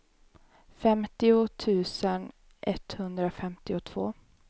femtio tusen etthundrafemtiotvå